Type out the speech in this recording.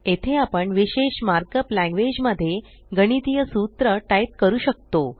येथे आपण विशेष मार्कप लॅंग्वेज मध्ये गणितीय सूत्र टाइप करू शकतो